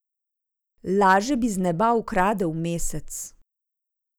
Laže bi z neba ukradel mesec.